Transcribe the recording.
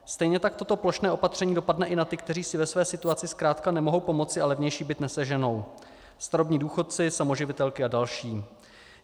Stejně tak toto plošné opatření dopadne i na ty, kteří si ve své situaci zkrátka nemohou pomoci a levnější byt neseženou: starobní důchodci, samoživitelky a další.